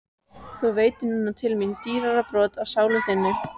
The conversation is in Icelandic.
Þú veitir núna til mín dýrara broti af sálu þinni.